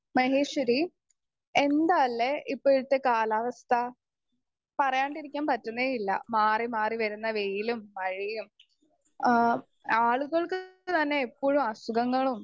speaker 2 Maheshwari എന്താലേ ഇപ്പോഴത്തെ കാലാവസ്ഥ പറയാണ്ടിരിക്കാൻ പറ്റുന്നെ ഇല്ല മാറി മാറി വരുന്ന വെയിലും മഴയും ആ ആളുകൾക്ക് തന്നെ എപ്പഴും അസുഖങ്ങളും